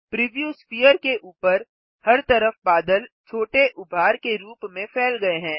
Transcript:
preview sphere के ऊपर हर तरफ बादल छोटे उभार के रूप में फैल गये हैं